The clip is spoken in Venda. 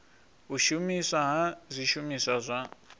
u shumiswa ha zwishumiswa zwa